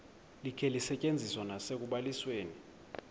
likhe lisetyenziswe nasekubalisweni